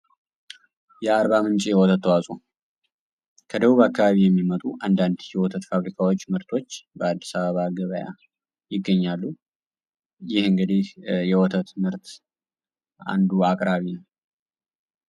የአርባምንጭ ተዋጽዖ ከደቡብ አካባቢ የሚመጡ አንዳንድ ህይወት ፋብሪካዎች ምርቶች በአዲስ አበባ ገበያ ይገኛሉ የእንግዴ የወተት ምርት አንዱ አቅራቢ